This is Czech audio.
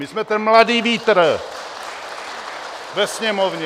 My jsme ten mladý vítr ve Sněmovně!